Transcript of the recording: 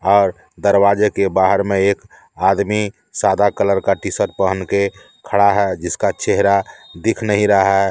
दरवाजे के बाहर में एक आदमी सादा कलर का टी शर्ट पहन के खड़ा है जिसका चेहरा दिख नहीं रहा है।